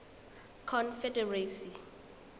confederacy